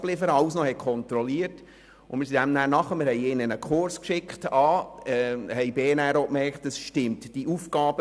Andererseits merkten wir, dass seine Aufgaben für ihn zu anspruchsvoll waren.